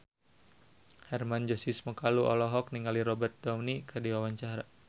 Hermann Josis Mokalu olohok ningali Robert Downey keur diwawancara